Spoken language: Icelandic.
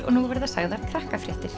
og nú verða sagðar